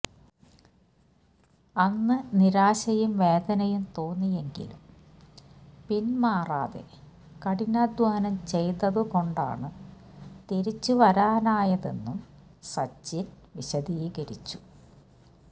അന്ന് നിരാശയും വേദനയും തോന്നിയെങ്കിലും പിൻമാറാതെ കഠിനാധ്വാനം ചെയ്തതുകൊണ്ടാണ് തിരിച്ചുവരാനായതെന്നും സച്ചിൻ വിശദീകരിച്ചു